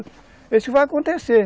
Isso que vai acontecer.